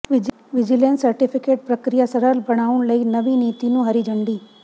vigilance certificate ਪ੍ਰਕਿਰਿਆ ਸਰਲ ਬਣਾਉਣ ਲਈ ਨਵੀਂ ਨੀਤੀ ਨੂੰ ਹਰੀ ਝੰਡੀ